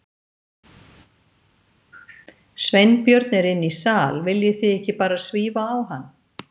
Sveinbjörn er inni í sal, viljið þið ekki bara svífa á hann?